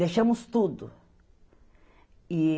Deixamos tudo. E